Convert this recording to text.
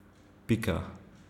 Pika.